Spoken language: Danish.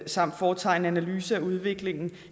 samt foretage en analyse af udviklingen